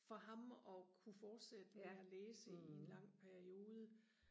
for ham og kunne fortsætte med og læse i en lang periode